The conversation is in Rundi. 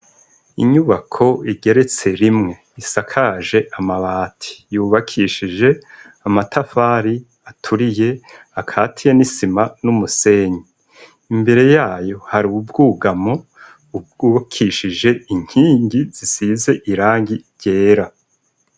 Inyubako igeretse rimwe isakaje amabati, yubakishije amatafari aturiye akatiye n' isima n' umusenyi. Imbere yayo, hari ubwugamo, bwubakishije inkingi zisize irangi ryera.